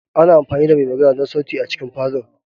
Ana amfani da mai magana don sauti a cikin falon.